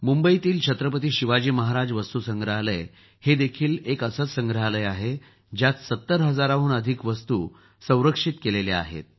मुंबईच्या छत्रपती शिवाजी महाराज वास्तु संग्रहालय एक असंच संग्रहालय आहे ज्यात ७० हजाराहून अधिक वस्तु सुरक्षित ठेवल्या आहेत